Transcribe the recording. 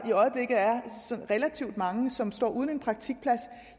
relativt mange som står uden en praktikplads